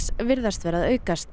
virðast vera að aukast